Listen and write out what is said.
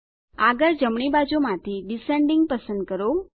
આગળ જમણી બાજુમાંથી ડિસેન્ડિંગ પસંદ કરો